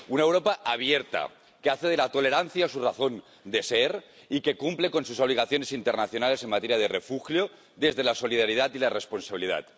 Una Europa abierta que hace de la tolerancia su razón de ser y que cumple con sus obligaciones internacionales en materia de refugio desde la solidaridad y la responsabilidad.